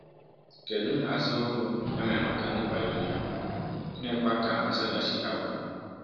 Kedu nhazi ọhụrụ e mere maka ndị pionia, gịnịkwa ka nzaghachi ha bụ?